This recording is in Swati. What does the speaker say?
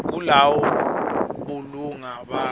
kulawula bulunga bakho